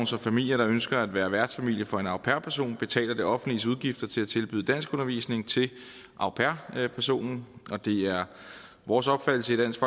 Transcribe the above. så familier der ønsker at være værtsfamilie for en au pair person betaler det offentliges udgifter til at tilbyde danskundervisning til au pair personen det er vores opfattelse i dansk